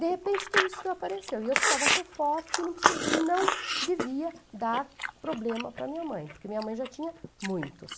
De repente tudo isso apareceu e eu precisava ser forte e precisa, e não devia dar problema para minha mãe, porque minha mãe já tinha muitos.